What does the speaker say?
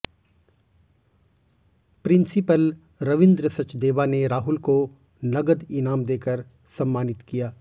principal Ravindra Sachdeva ने राहुल को नगद ईनाम देकर सम्मानित किया